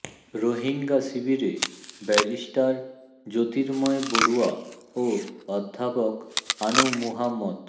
রোহিঙ্গা শিবিরে ব্যারিস্টার জ্যোতির্ময় বড়ুয়া ও অধ্যাপক আনু মুহাম্মদ